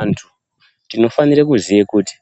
Antu! tinofanira kuziya kuti